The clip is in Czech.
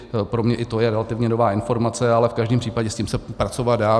Pro mě i to je relativně nová informace, ale v každém případě se s tím pracovat dá.